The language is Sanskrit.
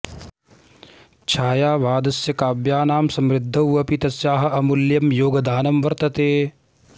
छायावादस्य काव्यानां समृद्धौ अपि तस्याः अमूल्यं योगदानं वर्तते